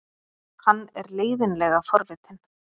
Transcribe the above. Hann er leiðinlega forvitinn.